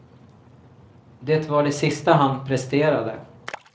Det var det sista han presterade.